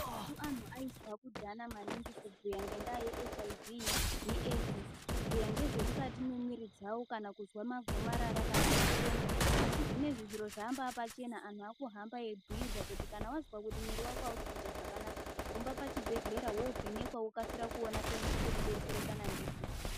Antu ainzwa kudhaya maningi kubhuya ngendaya ye HIV ne AIDS kubhuya ngezvemukati memwiri dzavo kana kunzwa magomarara kana ma kenza asi zvinezvi zviro zvamba pachena antu akuhamba egwirwa kuti kana wazwa kuti mwiri wako ausikuita zvakanaka hamba pachibhedhleya wovhenekwa wokasira kuona pekubetsereka ndipo